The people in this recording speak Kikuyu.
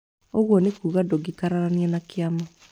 Ũguo nĩ kuga ndũngĩkararania na kĩama